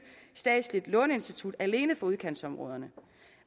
statsligt låneinstitut alene for udkantsområderne